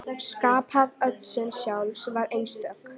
Skaphöfn Odds sjálfs var einstök.